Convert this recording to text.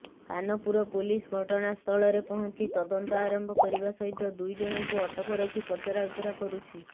Kanpur police ଘଟଣାସ୍ଥଳରେ ପହଞ୍ଚି ତଦନ୍ତ ଆରମ୍ଭ କରିବା ସହିତ ଦୁଇ ଜଣଙ୍କୁ ଅଟକ ରଖି ପଚରାଉଚରା କରୁଛି